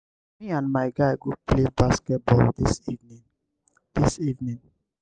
me and my guy go play basket ball dis evening. dis evening.